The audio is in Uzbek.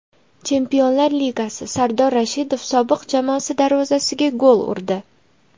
Chempionlar Ligasi: Sardor Rashidov sobiq jamoasi darvozasiga gol urdi .